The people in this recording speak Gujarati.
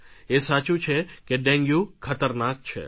એ સાચું છું કે ડેન્ગ્યુ ખતરનાક છે